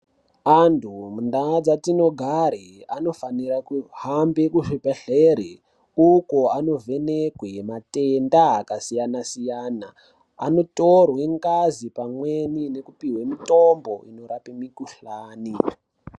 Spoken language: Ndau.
Antu mundau dzinogara vanofanirwe kuhambe kuzvibhedhlera uko vanovhenekwa matenda akasiyana siyana. Anotorwe ngazi pamweni nekupiwa mitombo inorape mikhuhlani.